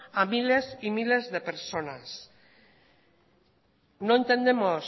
a miles y a miles de personas no entendemos